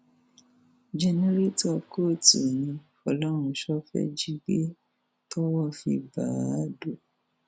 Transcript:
jẹnẹtọrọ kóòtù ni fọlọrunṣọ fẹẹ jí gbà tọwọ fi bá a adọ